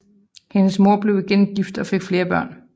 Hendes mor blev igen gift og fik flere børn